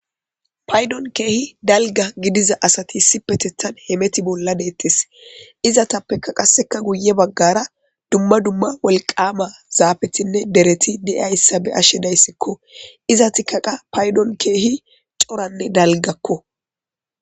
Paydon kehi dalgga gidiza asati issipetethan hameta bolla dettes izetappeka qaseka guye baggara dumma dumma wolqama zafetinne deereti dizayssa beashe dayssiko izetika qa paydon kehi coranne dalggako.